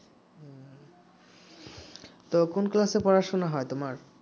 তো কোন ক্লাসে পড়াশোনা হয় তোমার